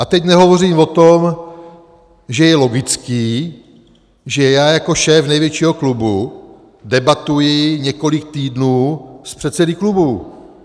A teď nehovořím o tom, že je logické, že já jako šéf největšího klubu debatuji několik týdnů s předsedy klubů.